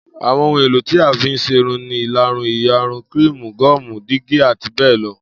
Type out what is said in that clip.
Àwo̩n ohun èlò tí a fí ń s̩erun ni ìlarun, ìyarun, kííìmù, gó̩ò̩mù, dígí àti bé̩è̩ lo̩